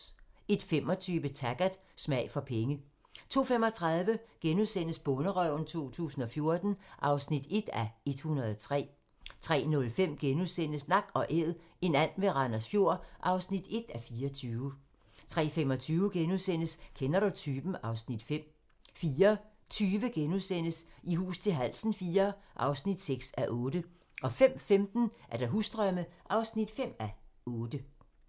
01:25: Taggart: Smag for penge 02:35: Bonderøven 2014 (1:103)* 03:05: Nak & Æd - en and ved Randers Fjord (1:24)* 03:35: Kender du typen? (Afs. 5)* 04:20: I hus til halsen IV (6:8)* 05:15: Husdrømme (5:8)